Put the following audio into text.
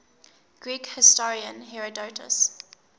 greek historian herodotus